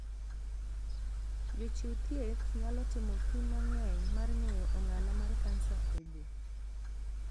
Jochiw thieth nyalo timo pim mang'eny mar ng'eyo ong'ala mar kansa oboo.